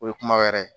O ye kuma wɛrɛ ye